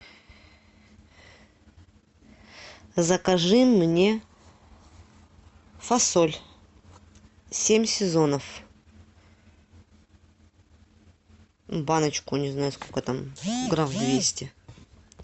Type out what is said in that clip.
закажи мне фасоль семь сезонов баночку не знаю сколько там грамм двести